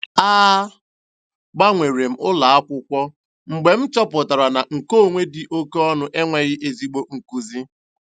A gbanwere m ụlọ akwụkwọ mgbe m chọpụtara na nkeonwe dị oke ọnụ enweghị ezigbo nkuzi.